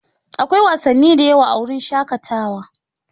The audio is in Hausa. Akwai wasanni da yawa a wurin shakatawa.